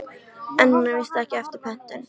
En hún er víst ekki eftir pöntun.